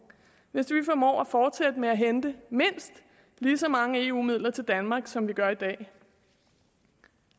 hvis vi formår at fortsætte med at hente mindst lige så mange eu midler til danmark som vi gør i dag